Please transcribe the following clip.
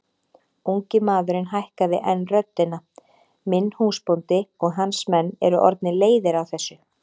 Ungi maðurinn hækkaði enn röddina:-Minn húsbóndi og hans menn eru orðnir leiðir á þessu!